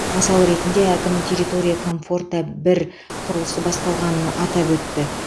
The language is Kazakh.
мысал ретінде әкім территория комфорта бір құрылысы басталғанын атап өтті